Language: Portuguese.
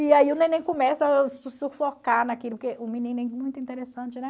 E aí o neném começa a sufocar naquilo, porque muito interessante, né?